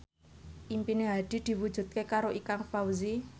impine Hadi diwujudke karo Ikang Fawzi